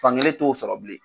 Fankelen t'o sɔrɔ bilen.